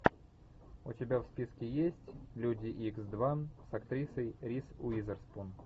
у тебя в списке есть люди икс два с актрисой риз уизерспун